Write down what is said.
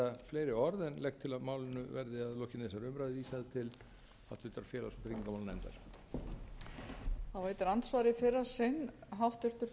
fleiri orð en legg til að málinu verði að lokinni þessari umræðu vísað til háttvirtrar félags og tryggingamálanefndar